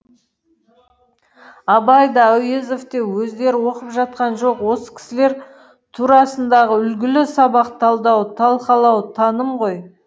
абай да әуезов те өздері оқып жатқан жоқ осы кісілер турасындағы үлгілі сабақ талдау талқалау таным ғой